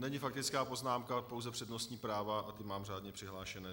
Není faktická poznámka, pouze přednostní práva a ty mám řádně přihlášené.